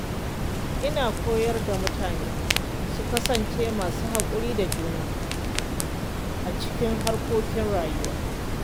Ina koyar da mutane su kasance masu haƙuri da juna a cikin harkokin rayuwa.